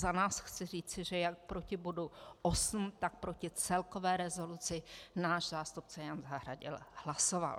Za nás chci říci, že jak proti bodu 8, tak proti celkové rezoluci náš zástupce Jan Zahradil hlasoval.